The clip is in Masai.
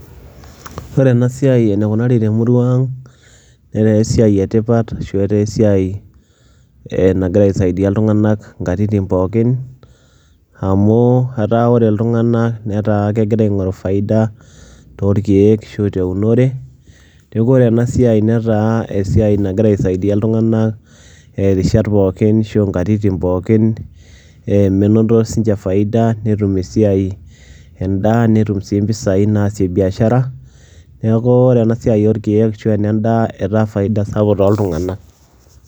ore ena siai eneikunari temurua ang netaa esiai etipat. ashu etaa esiai ee nagira aisaidia iltunganak inkatitin pookin, amu etaa ore iltunganak netaa kegira, aingoru faida toorkeek, ashu aa teunore, neeku ore ena siai netaa esiai nagira aisaidia iltunganak irishat pookin ashu inkatitin pookin, ee menoto sii ninche faida netum esiai, edaa netum sii mpisai naasie biashara, neku ore ena siai orkeek ashu ene daa etaa faida sapuk tooltunganak.